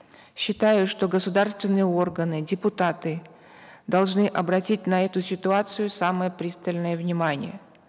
считаю что государственные органы депутаты должны обратить на эту ситуацию самое пристальное внимание